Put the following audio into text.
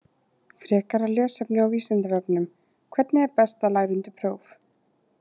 Frekara lesefni á Vísindavefnum: Hvernig er best að læra undir próf?